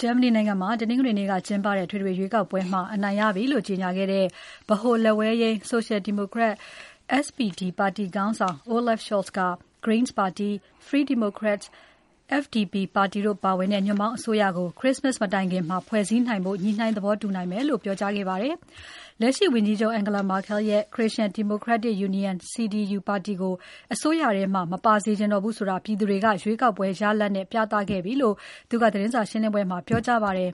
ဂျာမနီနိုင်ငံမှာ တနင်္ဂနွေနေ့က ကျင်းပတဲ့ အထွေထွေရွေးကောက်ပွဲမှာ အနိုင်ရပြီလို့ ကြေညာခဲ့တဲ့ ဗဟို လက်ဝဲယိမ်း Social Democrat (SPD) ပါတီခေါင်းဆောင် Olaf Scholz က Greens ပါတီ၊ Free Democrats (FDP) ပါတီတို့ပါဝင်တဲ့ ညွန့်ပေါင်းအစိုးရကို Christmas မတိုင်ခင် ဖွဲ့စည်းနိုင်ဖို့ ညှိုနှိုင်းသဘောတူနိုင်မယ်လို့ ပြောကြားခဲ့ပါတယ်။ လက်ရှိဝန်ကြီးချုပ် Angela Merkel ရဲ့ Christian Democratic Union (CDU) ပါတီကို အစိုးရထဲမှာ မပါစေချင်တော့ဘူးဆိုတာ ပြည်သူတွေက ရွေးကောက်ပွဲ ရလာဒ်နဲ့ ပြသခဲ့ပြီလို့ သတင်းစာရှင်းပွဲမှာ ပြောကြားသွားပါတယ်။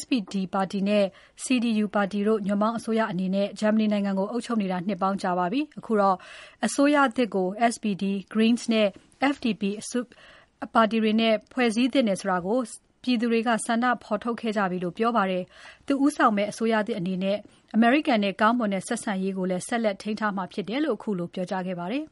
SPD ပါတီနဲ့ CDU ပါတီတို့ ညွန့်ပေါင်းအစိုးရအနေနဲ့ ဂျာမနီနိုင်ငံကို အုပ်ချုပ်နေတာ နှစ်ပေါင်းကြာပါပြီ။ အခုတော့ အစိုးရသစ်ကို SPD၊ Greens နဲ့ FDP အစိုးရကို ဦးသင့်တယ်ဆိုတဲ့ ဆန္ဒကို ပြည်သူတွေက ဖော်ထုတ်ခဲ့ကြပြီလို့ပြောပါတယ်။ သူ့ဦးဆောင်မယ့် အစိုးရသစ်အနေနဲ့ အမေရိကန်နဲ့ ကောင်းမွန်တဲ့ ဆက်ဆံရေးကိုလည်း ဆက်လက်ထိန်းထားမှာဖြစ်တယ်လို့ ခုလို ပြောကြားခဲ့ပါတယ်။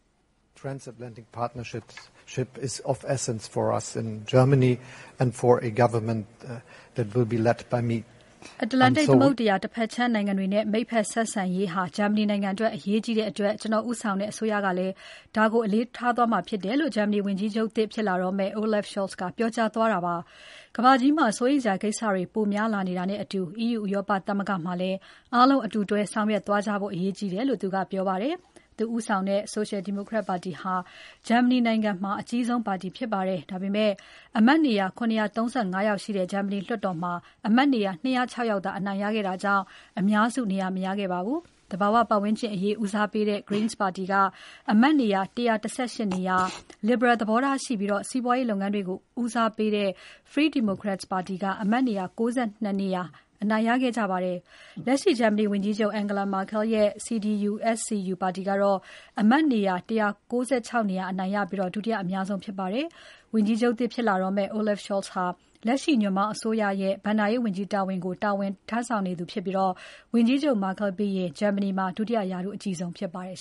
“အတ္တလန်တိတ်သမုဒ္ဒရာ တဘက်ခြမ်းနိုင်ငံတွေနဲ့ မိတ်ဖက်ဆက်ဆံရေးဟာ ဂျာမနီနိုင်ငံအတွက်အရေးကြီးတဲ့အတွက် ကျနော် ဦးဆောင်တဲ့အစိုးရကလည်း ဒါကို အလေးထားသွားမှာဖြစ်ပါတယ်”...လို့ ဂျာမနီဝန်ကြီးချုပ်သစ်ဖြစ်လာတော့မယ့် Olaf Scholz ကပြောကြားသွားတာဖြစ်ပါတယ်။ ကမ္ဘာကြီးမှာ စိုးရိမ်စရာကိစ္စတွေ ပိုများလာနေတာနဲ့အတူ EU ဥရောပသမဂ္ဂမှာလည်း အားလုံးအတူလက်တွဲဆောင်ရွက်သွားကြဖို့ အရေးကြီးတယ်လို့ သူကပြောပါတယ်။ သူဦးဆောင်တဲ့ Social Democrat ပါတီဟာ ဂျာမနီနိုင်ငံမှာ အကြီးဆုံးပါတီဖြစ်ပါတယ်။ ဒါပေမဲ့ အမတ်နေရာ ၇၃၅ ယောက်ရှိတဲ့ ဂျာမနီလွှတ်တော်မှာ အမတ်နေရာ ၂၀၆ ယောက်သာ အနိုင်ရခဲ့တာကြောင့် အများစုနေရာ မရခဲ့ပါဘူး။ သဘာဝပတ်ဝန်းကျင်အရေး ဦးစားပေးတဲ့ Greens ပါတီက အမတ်နေရာ ၁၁၈ နေရာ၊ Liberal သဘောထားရှိပြီး စီးပွားရေးလုပ်ငန်းတွေကို ဦးစားပေးတဲ့ Free Democrats ပါတီက အမတ်နေရာ ၉၂ နေရာအနိုင်ရခဲ့ကြပါတယ်။ လက်ရှိဂျာမနီဝန်ကြီးချုပ် Angela Merkel ရဲ့ CDU/CSU ပါတီကတော့ အမတ်နေရာ ၁၉၆ ယောက်အနိုင်ရပြီး ဒုတိယအများဆုံးဖြစ်ပါတယ်။ ဝန်ကြီးချုပ်သစ်ဖြစ်လာတော့မယ့် Olaf Scholz ဟာလက်ရှိညွန့်ပေါင်းအစိုးရရဲ့ ဘဏ္ဍာရေးဝန်ကြီးတာဝန်ကို ထမ်းဆောင်နေသူဖြစ်ပြီး ဝန်ကြီးချုပ် Merkel ပြီးရင် ဒုတိယရာထူးအကြီးဆုံးဖြစ်ပါတယ်